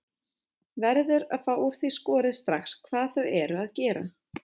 Verður að fá úr því skorið strax hvað þau eru að gera.